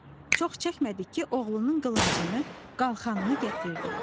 Çox çəkmədik ki, oğlunun qılıncını, qalxanını gətirdi.